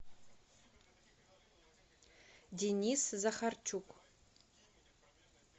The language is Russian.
денис захарчук